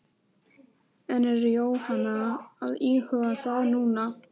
En er Jóhanna að íhuga það núna?